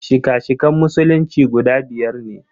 Shika-shikan Musulunci guda biyar ne.